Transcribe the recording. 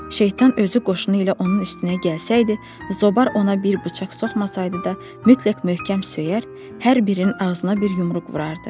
Şeytan özü qoşunu ilə onun üstünə gəlsəydi, Zobar ona bir bıçaq soxmasaydı da, mütləq möhkəm söyər, hər birinin ağzına bir yumruq vurardı.